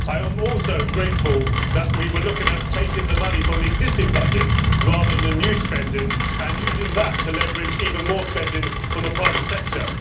I am also grateful that we were looking at taking the money from the existing budget, rather than new spending, and using that to leverage even more spending from the private sector.